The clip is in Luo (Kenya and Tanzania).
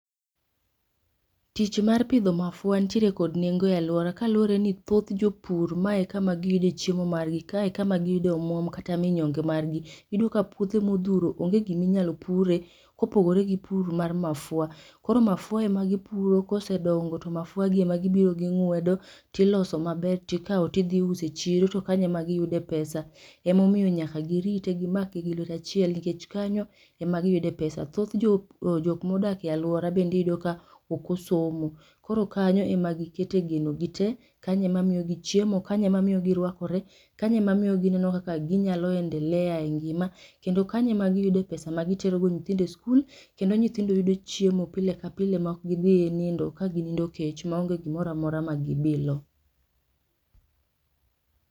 tich mar pidho mafua nitiere kod nengo e aluora kaluore ni thoth jopur mae e kama giyude chiemo margi, kae e kama giyude omwom kata minyonge margi. Iyudo ka puothe mothuro onge giminyalopure kopogore gi pur mar mafua, koro mafua emagipuro kosedongo to mafuagi emagibiro ging'wedo tiloso maber tikao tidhii uso e chiro to kanyo ema giyude pesa. Emomiyo nyaka girite gimake gi lwete achiel nikech kanyo emagiyude pesa. Thoth jokmodake aluora iyudo ka okosomo, koro kanyo emagikete geno gi te, kanyo emamiyogi chiemo, kanyo emamiyogi rwakore, kanyo emamiyogi gineno kaka ginyalo endelea e ngima, kendo kanyo emagiyude pesa magiterogo nyithindo e sikul kendo nyithindo yudo chiemo pile ka pile ma okgidhi nindo kaginindo kech maonge gimoramora magibilo.